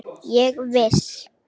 Ég er viss.